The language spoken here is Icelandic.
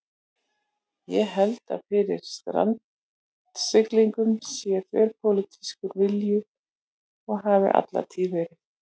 Ég held að fyrir strandsiglingum sé þverpólitískur vilji og hafi alla tíð verið.